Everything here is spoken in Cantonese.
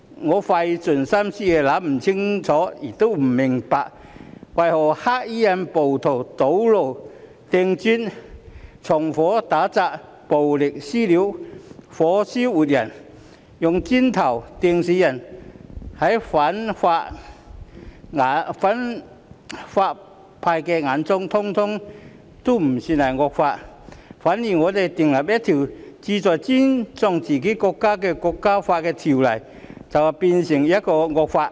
我費盡心思亦想不清楚、想不明白，為何在反對派眼中，黑衣暴徒堵路、掟磚、縱火、打砸、暴力"私了"、火燒活人、用磚頭"掟"死人等，通通不算是惡行，反而我們訂立一項旨在尊重自己國家國歌的條例，卻是一項惡法。